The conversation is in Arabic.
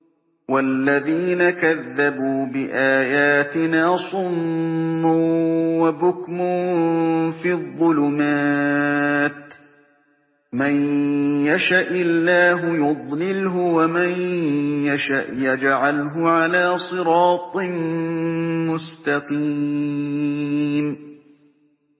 وَالَّذِينَ كَذَّبُوا بِآيَاتِنَا صُمٌّ وَبُكْمٌ فِي الظُّلُمَاتِ ۗ مَن يَشَإِ اللَّهُ يُضْلِلْهُ وَمَن يَشَأْ يَجْعَلْهُ عَلَىٰ صِرَاطٍ مُّسْتَقِيمٍ